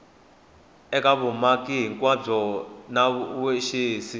eka vumaki hinkwabyo na vaxavis